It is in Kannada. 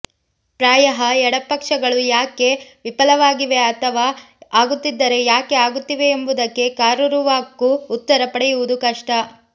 ಪ್ರಾಯಃ ಎಡಪಕ್ಷಗಳು ಯಾಕೆ ವಿಫಲವಾಗಿವೆ ಅಥವಾ ಅಗುತ್ತಿದ್ದರೆ ಯಾಕೆ ಆಗುತ್ತಿವೆ ಎಂಬುದಕ್ಕೆ ಕರಾರುವಾಕ್ಕು ಉತ್ತರ ಪಡೆಯುವುದು ಕಷ್ಟ